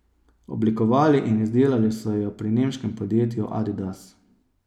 Oblikovali in izdelali so jo pri nemškem podjetju Adidas.